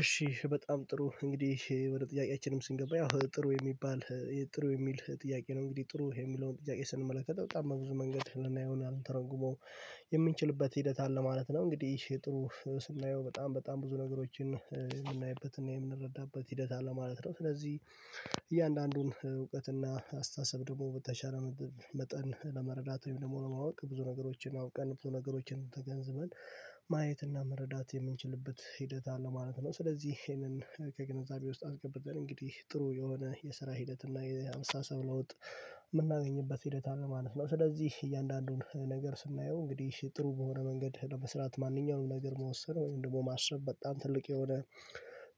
እሺ በጣም ጥሩ እንግዲህ ወደ ጥያቄያችንም ስንገባ ያው ጥሩ የሚባል ጥሩ የሚል ጥያቄ ነው። እንግዲህ ጥሩ የሚለውን ጥያቄ ስንመለከተው በጣም ብዙ መንገድ የምናየውና የምንተረጉመው የምንችልበት ሂደት አለ ማለት ነው። እንግዲህ ይሄ ጥሩ ስናየው በጣም በጣም ብዙ ነገሮችን የምናይበትና የምንረዳበት ሂደት አለ ማለት ነው። ስለዚህ እያንዳንዱን እውቀትና አስተሳሰብ ደግሞ በተሻለ መጠን ለመረዳት ወይም ለማወቅ ብዙ ነገሮችን አውቀን ብዙ ነገሮችን ተገንዝበን ማየት እና መረዳት የምንችልበት ሂደት አለ ማለት ነው። ስለዚህ ይሄንን ከግንዛቤ ውስጥ አስገብተን እንግዲህ ጥሩ የሆነ የስራ ሂደት እና የአስተሳሰብ ለውጥ ምናገኝበት ሂደት ነው። ስለዚህ እያንዳንዱን ነገር ስናየው እንግዲህ ጥሩ በሆነ መንገድ ለመስራት ማንኛውንም ነገር መወሰን ወይም ደግሞ ማሰብ በጣም ትልቅ የሆነ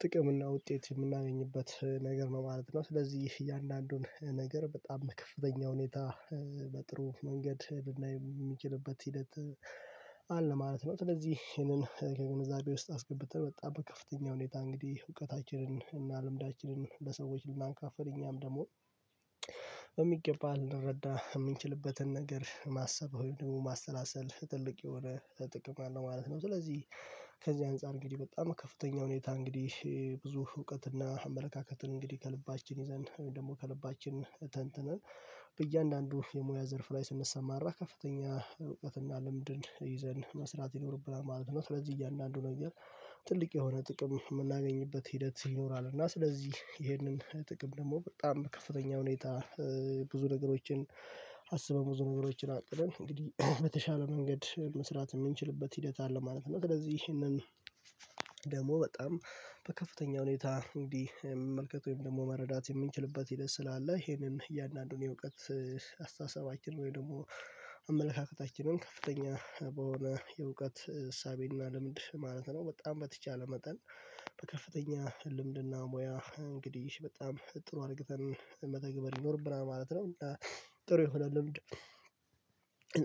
ጥቅም እና ውጤት የምናገኝበት ነገር ነው ማለት ነው። ስለዚህ እያንዳንዱን ነገር በጣም ከፍተኛ ሁኔታ በጥሩ መንገድ የምንችልበት ሂደት አለ ማለት ነው። ስለዚህ ይሄንን ከግንዛቤ ውስጥ አስገብቶ በጣም ከፍተኛ ሁኔታ እንግዲህ እውቀታችንን እና ልምዳችንን በሰዎች ልናንካፍል እኛም ደግሞ በሚገባ ልንረዳ የምንችልበትን ነገር ማሰብ ወይም ደግሞ ማሰላሰል ትልቅ የሆነ ጥቅም አለው ማለት ነው። ስለዚህ ከዚህ አንፃር እንግዲህ በጣም ከፍተኛ ሁኔታ እንግዲህ ብዙ እውቀትና አመለካከትን እንግዲህ ከልባችን ይዘን ደግሞ ከልባችን ተንትነን በእያንዳንዱ የሙያ ዘርፍ ላይ ስንሰማራ ከፍተኛ እውቀትና ልምድን ይዘን መስራት ይኖርብናል ማለት ነው። ስለዚህ እያንዳንዱ ነገር ትልቅ የሆነ ጥቅም የምናገኝበት ሂደት ይኖራል እና ስለዚህ ይሄንን ጥቅም ደግሞ በጣም ከፍተኛ ሁኔታ ብዙ ነገሮችን አስበው ዝውውሮችን አቅደን እንግዲህ በተሻለ መንገድ መስራት የምንችልበት ሂደት አለ ማለት ነው። ስለዚህ ይህንን ደግሞ በጣም በከፍተኛ ሁኔታ እንዲመልከተው ወይም ደግሞ መረዳት የምንችልበት ሂደት ስላለ ይሄንን እያንዳንዱን የእውቀት አስተሳሰባችን ወይም ደግሞ አመለካከታችንን ከፍተኛ በሆነ የእውቀት እሳቤና ልምድ ማለት ነው በጣም በተቻለ መጠን በከፍተኛ ልምድና ሙያ እንግዲህ በጣም ጥሩ አርግተን መተግበር ይኖርብና ማለት ነው ጥሩ የሆነ ልምድ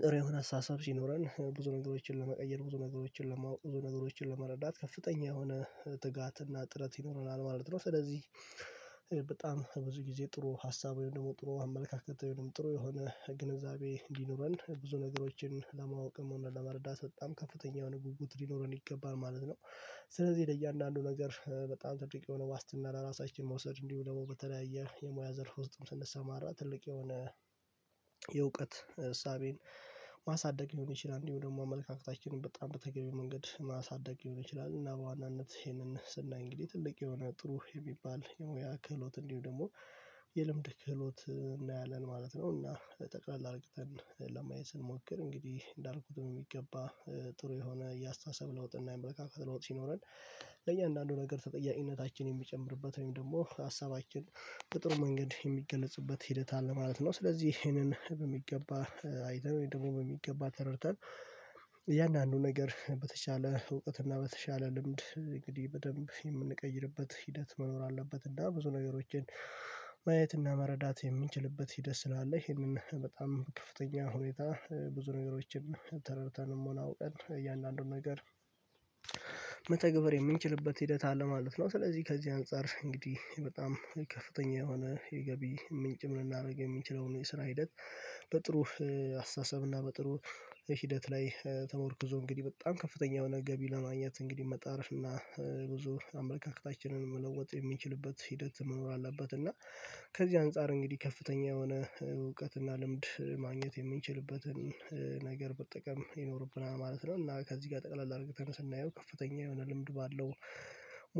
ጥሩ የሆነ አሰሳሰብ ሲኖረን ብዙ ነገሮችን ለመቀየር ብዙ ነገሮችን ለማወቅ ብዙ ነገሮችን ለመረዳት ከፍተኛ የሆነ ትጋትና ጥረት ይኖረናል ማለት ነው። ስለዚህ በጣም ብዙ ጊዜ ጥሩ ሀሳብ ወይም ደግሞ ጥሩ አመለካከት ወይም ጥሩ የሆነ ግንዛቤ እንዲኖረን ብዙ ነገሮችን ለማወቅም ሆነ ለመረዳት በጣም ከፍተኛ የሆነ ጉጉት ሊኖረን ይገባል ማለት ነው ስለዚህ ለእያንዳንዱ ነገር በጣም ተጥሪቅ የሆነ ዋስትና ለራሳችን መውሰድ እንዲሁ ደግሞ በተለያየ የሙያ ዘርፍ ውስጥም ስንሰማራ ትልቅ የሆነ የእውቀት እሳቤን ማሳደግ ይሆን ይችላል እንዲሁ ደግሞ አመለካከታችንን በጣም በተገኘው መንገድ ማሳደግ ይሆናል እና በዋናነት ይሄንን ስናይ እንግዲህ ትልቅ የሆነ ጥሩ የሚባል ያክህሎት እንዲሁ ደግሞ የልምድ ክህሎት እናያለን ማለት ነው እና ጠቅላላ አርቅተን ለማየት ስንሞክር እንግዲህ እንዳልኩት ነው የሚገባ ጥሩ የሆነ የአስተሳሰብ ለውጥ እና የመለካከት ለውጥ ሲኖረን ለእያንዳንዱ ነገር ተጠያቂነታችን የሚጨምርበት ወይም ደግሞ ሀሳባችን በጥሩ መንገድ የሚገለጽበት ሄደታል ማለት ነው ስለዚህ ይሄንን በሚገባ አይደለም ደግሞ በሚገባ ተረድተን እያንዳንዱ ነገር በተቻለ እውቀት እና በተቻለ ልምድ እንግዲህ በደንብ የምንቀይርበት ሂደት መኖር አለበት እና ብዙ ነገሮችን ማየትና መረዳት የሚችልበት ሂደት ስላለ ይህንን በጣም ከፍተኛ ሁኔታ ብዙ ነገሮችን ተረድተን አውቀን እያንዳንዱን ነገር መተግበር የምንችልበት ሂደት አለ ማለት ነው ስለዚህ ከዚህ አንፃር እንግዲህ በጣም ከፍተኛ የሆነ የገቢ ምንጭ ምን ላድርግ የምንችለው ነው የስራ ሂደት በጥሩ አስተሳሰብ እና በጥሩ ሂደት ላይ ተመርክዞ እንግዲህ በጣም ከፍተኛ የሆነ ገቢ ለማግኘት እንግዲህ መጣርሽ እና ብዙ አምልካክታችንን መለወጥ የሚችልበት ሂደት መኖር አለበት እና ከዚህ አንፃር እንግዲህ ከፍተኛ የሆነ እውቀት እና ልምድ ማግኘት የምንችልበትን ነገር በጥቅም ይኖርብናል ማለት ነው እና ከዚህ ጋር ጠቅላላ አድርገን ስናየው ከፍተኛ የሆነ ልምድ ባለው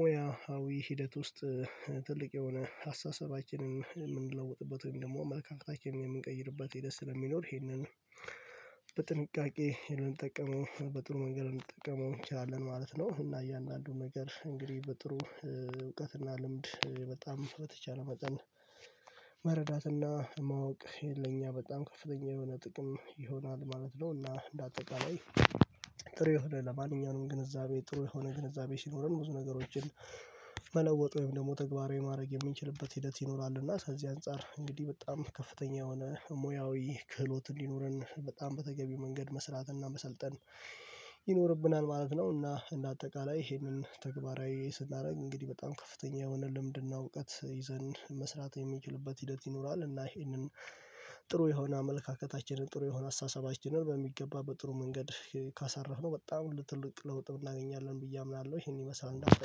ሞያዊ ሂደት ውስጥ ትልቅ የሆነ አስተሳሰባችንን የምንለውጥበት ወይም ደግሞ አመልካከታችንን የምንቀይርበት የደስ ለሚኖር ይሄንን በጥንቃቄ የምንጠቀመው በጥሩ መንገድ የምንጠቀመው እንችላለን ማለት ነው እና ያን ያን አንዱ ነገር እንግዲህ በጥሩ እውቀትና ልምድ በጣም በተቻለ መጠን መረዳትና ማወቅ የለኝ በጣም ከፍተኛ የሆነ ጥቅም ይሆናል ማለት ነው እና እንደ አጠቃላይ ጥሩ የሆነ ለማንኛውም ግንዛቤ ጥሩ የሆነ ግንዛቤ ሲኖርም ብዙ ነገሮችን ወይም ደግሞ ተግባራዊ ማድረግ የሚችልበት ሂደት ይኖራል እና ከዚህ አንፃር እንግዲህ በጣም ከፍተኛ የሆነ ሙያዊ ክህሎት እንዲኖረን በጣም በተገቢ መንገድ መስራትና መሰልጠን ይኖርብናል ማለት ነው እና እንደ አጠቃላይ ይሄንን ተግባራዊ ስናደርግ እንግዲህ በጣም ከፍተኛ የሆነ ልምድና እውቀት ይዘን መስራት የሚችልበት ሂደት ይኖራል እና ይሄንን ጥሩ የሆነ አመለካከታችንን ጥሩ የሆነ አሳሳቢያችንን በሚገባ በጥሩ መንገድ ካሰራህ ነው በጣም ለትልቅ ለውጥ እናገኛለን ብዬ አምናለሁ ይሄን ይመስላል